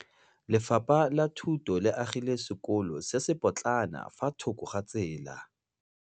Lefapha la Thuto le agile sekôlô se se pôtlana fa thoko ga tsela.